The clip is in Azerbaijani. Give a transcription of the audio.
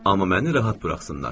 Amma məni rahat buraxsınlar.